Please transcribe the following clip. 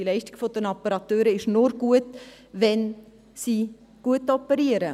Die Leistung der Operateure ist nur gut, wenn sie gut operieren.